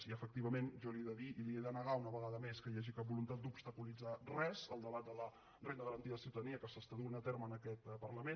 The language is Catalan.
i efectivament jo li he de dir i li he de negar una vegada més que hi hagi cap voluntat d’obstaculitzar res del debat de la renda garantida de ciutadania que s’està duent a terme en aquest parlament